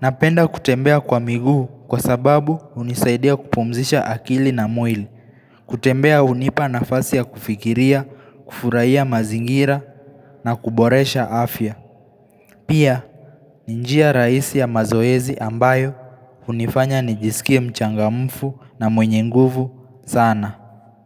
napenda kutembea kwa miguu kwa sababu unisaidia kupumzisha akili na mwili kutembea unipa nafasi ya kufikiria, kufuraia mazingira na kuboresha afya Pia, ni njia rahisi ya mazoezi ambayo unifanya nijisikia mchangamfu na mwenye nguvu sana.